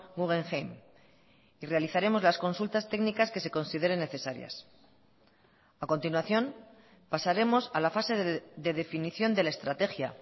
guggenheim y realizaremos las consultas técnicas que se consideren necesarias a continuación pasaremos a la fase de definición de la estrategia